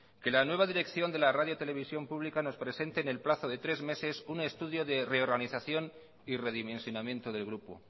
que la nueva dirección de la radio televisión pública nos presente en el plazo de tres meses un estudio de reorganización y redimensionamiento del grupo